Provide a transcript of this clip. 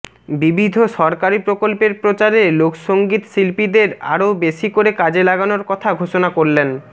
বিবিধ সরকারি প্রকল্পের প্রচারে লোকসঙ্গীত শিল্পীদের আরও বেশি করে কাজে লাগানোর কথা ঘোষণা করলেন